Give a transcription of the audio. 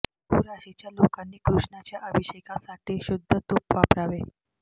तूळ राशीच्या लोकांनी कृष्णाच्या अभिषेकासाठी शुद्ध तूप वापरावे